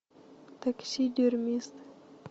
таксидермист